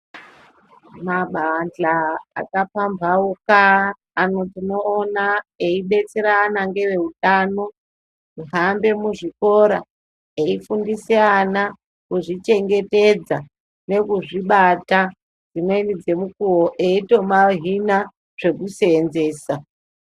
Mabandla akapamphauka ayo tinomaona eidetserana ngeveutano kuhambe muzvikora eifundise ana kuzvichengetedza nekuzvibata .Dzimweni dzemukuwo eito mahina zvekuseenzesa.